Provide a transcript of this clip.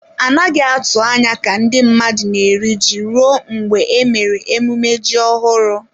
A naghị atụ anya ka ndị mmadụ na-eri ji ruo mgbe e mere emume ji ọhụrụ.